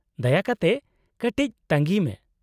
-ᱫᱟᱭᱟ ᱠᱟᱛᱮ ᱠᱟᱹᱴᱤᱡ ᱛᱟᱺᱜᱤᱭ ᱢᱮ ᱾